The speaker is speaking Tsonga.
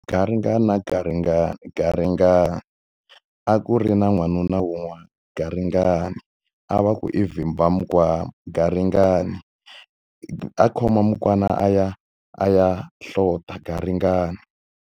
Garingani wa garingani, garingani. A ku ri na n'wanuna wun'wana, garingani. A va ku i Vhimbaminkwama, garingani. A khome mukwana a ya a ya hlota, garingani.